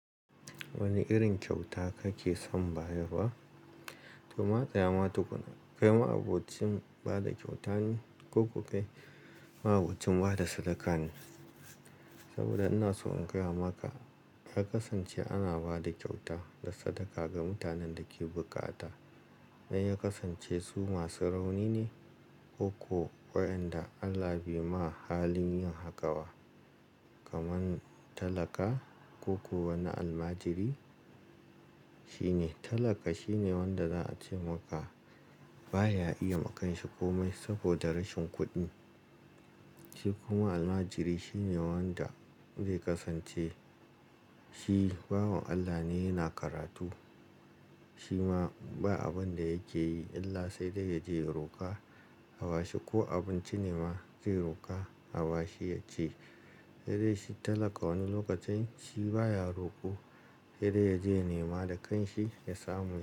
Wani irin kyauta kake son bayarwa? To matsa yama tukuna, kai ma'abocin bada kyauta ne ko kuma kai ma'abocin bada sadaka ne? Saboda ina so in gaya maka, ya kasance ana bada kyauta da sadaka ga mutanen da ke bukata. Sai ya kasance su masu rauni ne ko kuwa wayanda Allah bai ma halin yin haƙawa, kamar talaka ko kuwa wani almajiri. Shine talaka shine wanda za a ce maka baya iya makanshi komai saboda rashin kuɗi. Shi kuma almajiri shine wanda zai kasance shi babu Allah ne yana karatu. Shi ma ba abunda yake yi, illa sai dai yaje ya roka a bashi ko abinci ne ma zai roka a bashi yaci. Yanzu shi talaka wani lokacin shi baya roko, sai dai yaje ya nema da kanshi ya samu.